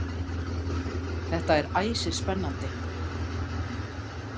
Þetta er æsispennandi.